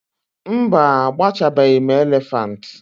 mba, agbachabeghị m elephant